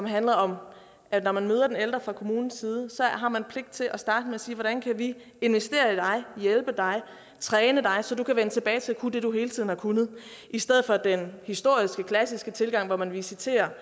handlede om at når man møder den ældre fra kommunens side har man pligt til at starte med at sige at hvordan kan vi investere i dig hjælpe dig træne dig så du kan vende tilbage til at kunne det du hele tiden har kunnet i stedet for den historisk klassiske tilgang hvor man visiterer